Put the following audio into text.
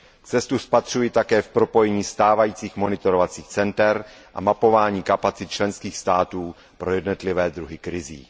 Cestu spatřuji také v propojení stávajících monitorovacích center a mapování kapacit členských států pro jednotlivé druhy krizí.